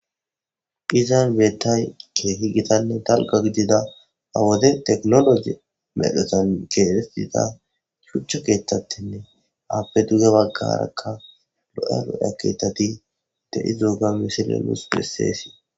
Izan beettay keehi gitanne dalga gidida awode teknologi medhesan keee dida shuchcha keetattenne aappe duge baggarakka lo'elo aketati dedi zooga misile mus peseesii